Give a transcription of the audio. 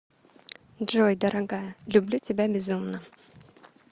джой дорогая люблю тебя безумно